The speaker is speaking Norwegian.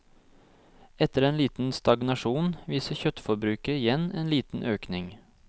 Etter en liten stagnasjon viser kjøttforbruket igjen en liten økning.